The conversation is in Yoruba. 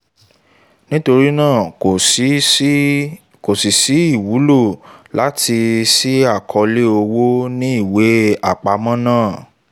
nítorí náà kò sí sí ìwúlò láti ṣí àkọọ́lẹ̀ owó ní ìwé àpamọ́ náà